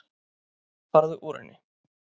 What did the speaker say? Farðu úr henni.